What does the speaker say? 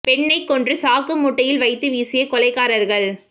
பெண்ணை கொன்று சாக்கு மூட்டையில் வைத்து வீசிய கொலைகாரர்கள்